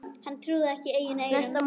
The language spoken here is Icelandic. Hann trúði ekki eigin eyrum.